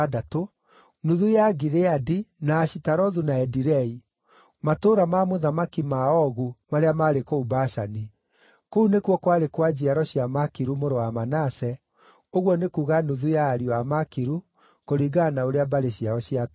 nuthu ya Gileadi, na Ashitarothu na Edirei (matũũra ma mũthamaki ma Ogu marĩa maarĩ kũu Bashani). Kũu nĩkuo kwarĩ kwa njiaro cia Makiru mũrũ wa Manase, ũguo nĩ kuuga nuthu ya ariũ a Makiru, kũringana na ũrĩa mbarĩ ciao ciatariĩ.